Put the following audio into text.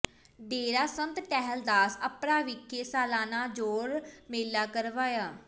ਡੇਰਾ ਸੰਤ ਟਹਿਲ ਦਾਸ ਅੱਪਰਾ ਵਿਖੇ ਸਾਲਾਨਾ ਜੋੜ ਮੇਲਾ ਕਰਵਾਇਆ